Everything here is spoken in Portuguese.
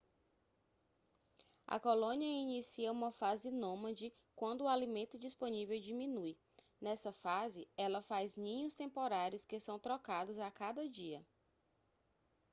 a colônia inicia uma fase nômade quando o alimento disponível diminui nessa fase ela faz ninhos temporários que são trocados a cada dia